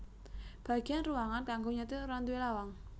Bagéyan ruangan kanggo nyetir ora nduwé lawang